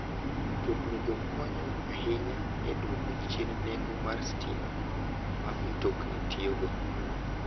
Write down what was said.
Mtoknigo konyo ahinya e dwoko chien nengo mar stima ma mtokni tiyogo.